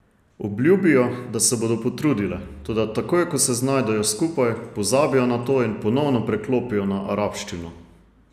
Obljubijo, da se bodo potrudile, toda takoj ko se znajdejo skupaj, pozabijo na to in ponovno preklopijo na arabščino.